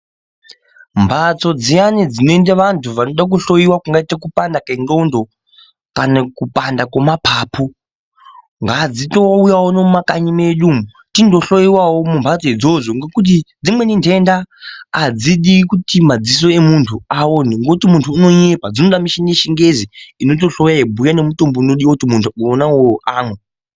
Mphatso dziyani dzinoende vantu vayani vanorapwe kupanda kwendxondo kana kupanda kwemapapu ngadzitouyawo unonu mumakanyi mwedu tindohloyiwawo mumphatso idzodzo ngekuti dzimweni ntenda adzidi kuti madziso emuntu awone ngokuti muntu unonyepa, dzinode michini yechingezi inotohloya yeyibhuya nemutombo unotodiwa kuti muntu wona uwowo amwe.